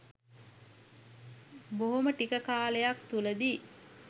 බොහොම ටික කාලයක් තුලදි